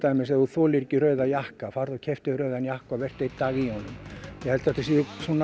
dæmis ef þolir ekki rauða jakka farðu og keyptu þér rauðan jakka og vertu einn dag í honum ég held þetta sé